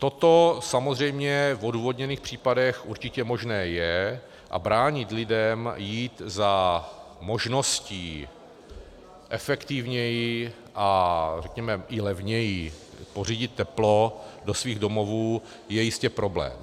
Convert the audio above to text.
Toto samozřejmě v odůvodněných případech určitě možné je, a bránit lidem jít za možností efektivněji a řekneme i levněji pořídit teplo do svých domovů je jistě problém.